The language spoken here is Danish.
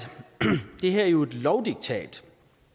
det her jo er et lovdiktat